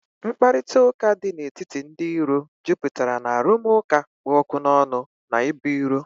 Mkparịta ụka dị n'etiti ndị iro jupụtara na arụmụka kpụ ọkụ n'ọnụ na ibu iro